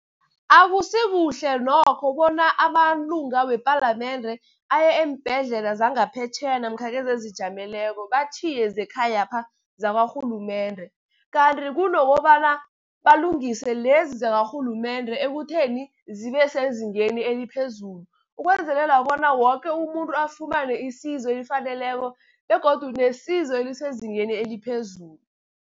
Akusikuhle nokho bona amalunga wepalamende aye eembhedlela zangaphetjheya namkha lezi ezijameleko batjhiye zekhayapha zakwarhulumende. Kanti kunokobana balungise lezi zakarhulumende ekutheni zibe sezingeni eliphezulu, ukwenzelela bona woke umuntu afumane isizo elifaneleko begodu nesizo elisezingeni eliphezulu.